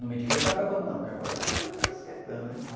Não me diga que tá acabando não, porque agora que a coisa tá esquetando, hein?